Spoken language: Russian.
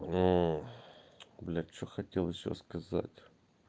мм блять что хотел ещё сказать